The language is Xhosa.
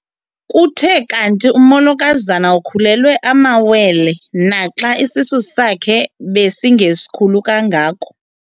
Kuthe kanti umolokazana ukhulelwe amawele naxa isisu sakhe besingesikhulu kangako.